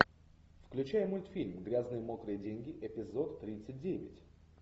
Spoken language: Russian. включай мультфильм грязные мокрые деньги эпизод тридцать девять